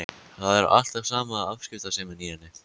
Það er alltaf sama afskiptasemin í henni.